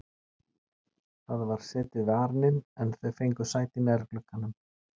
Það var setið við arininn en þau fengu sæti nær glugganum.